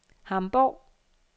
Hamborg